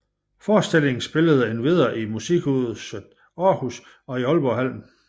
Forestillingen spillede endvidere i Musikhuset Aarhus og i Aalborghallen